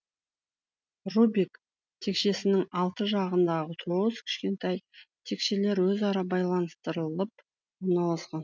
рубик текшесінің алты жағында тоғыз кішкентай текшелер өзара байланыстырылып орналасқан